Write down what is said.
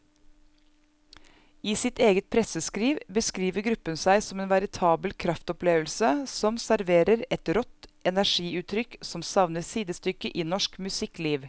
I sitt eget presseskriv beskriver gruppen seg som en veritabel kraftopplevelse som serverer et rått energiutrykk som savner sidestykke i norsk musikkliv.